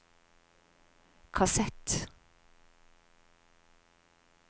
kassett